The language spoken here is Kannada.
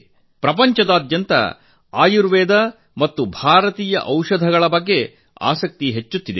ಜಗತ್ತಿನಾದ್ಯಂತ ಆಯುರ್ವೇದ ಮತ್ತು ಭಾರತೀಯ ಔಷಧಗಳ ಬಗ್ಗೆ ಹೆಚ್ಚಿನ ಆಸಕ್ತಿ ಮೂಡುತ್ತಿದೆ